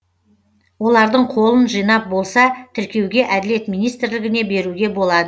олардың қолын жинап болса тіркеуге әділет министрлігіне беруге болады